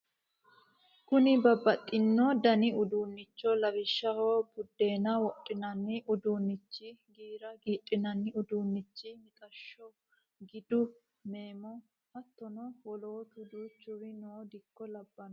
Kuni babbaxino dani uduunnicho lawishshaho buddeena wodhinani uduunichi giira giidhinani uduunich mixashsho gidu meemo hattono wolootu duuchuri noo dikko labbanno